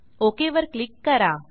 okay वर click करा